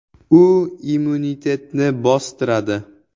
U immunitetni bostiradi.